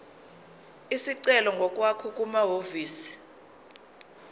isicelo ngokwakho kumahhovisi